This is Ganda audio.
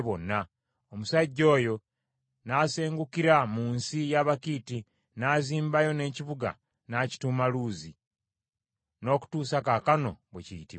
Omusajja oyo n’asengukira mu nsi y’Abakiiti, n’azimbayo n’ekibuga n’akituuma Luzi, n’okutuusa kaakano bwe kiyitibwa.